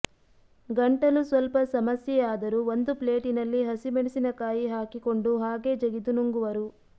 ಗಂಟಲು ಸ್ವಲ್ಪ ಸಮಸ್ಯೆಯಾದರೂ ಒಂದು ಪ್ಲೇಟಿನಲ್ಲಿ ಹಸಿಮೆಣಸಿನಕಾಯಿ ಹಾಕಿಕೊಂಡು ಹಾಗೇ ಜಗಿದು ನುಂಗುವರು